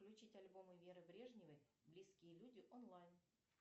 включите альбомы веры брежневой близкие люди онлайн